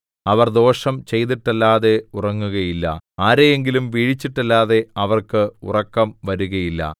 അവർ ദോഷം ചെയ്തിട്ടല്ലാതെ ഉറങ്ങുകയില്ല ആരെയെങ്കിലും വീഴിച്ചിട്ടല്ലാതെ അവർക്ക് ഉറക്കം വരുകയില്ല